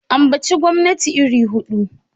Ambaci gwamnati iri hudu!